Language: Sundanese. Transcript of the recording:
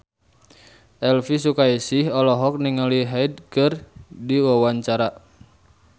Elvi Sukaesih olohok ningali Hyde keur diwawancara